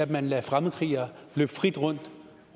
man lader fremmedkrigere løbe frit rundt